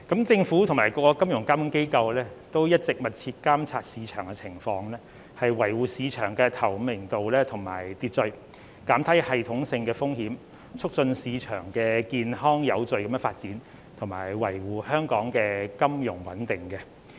政府及各金融監管機構一直密切監測市場情況，以維護市場的透明度及秩序，減低系統性的風險，促進市場健康有序地發展，以及維護香港的金融穩定。